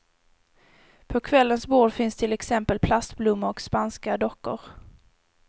På kvällens bord finns till exempel plastblommor och spanska dockor.